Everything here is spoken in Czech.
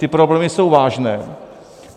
Ty problémy jsou vážné.